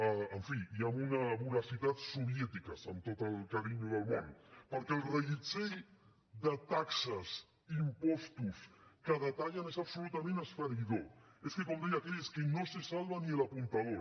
en fi i amb una voracitat soviètiques amb tot el carinyo del món perquè el reguitzell de taxes impostos que detallen és absolutament esfereïdor és que com deia aquell es que no se salva ni el apuntador